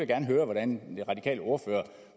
gerne høre hvordan den radikale ordfører